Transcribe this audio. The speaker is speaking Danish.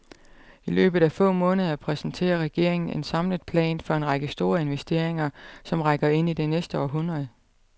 I løbet af få måneder præsenterer regeringen en samlet plan for en række store investeringer, som rækker ind i det næste århundrede.